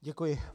Děkuji.